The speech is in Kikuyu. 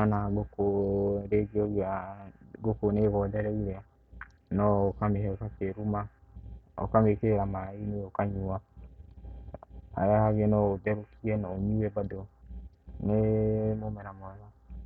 ona ngũkũ rĩngĩ ũngĩona ngũkũ nĩ ĩgondereire no ũkamĩhe gakĩruma. Ũkamĩkĩrĩra maĩ-inĩ ĩkanyua. Harĩ hangĩ no ũtherũkie na ũnyue bado, nĩ mũmera mwega.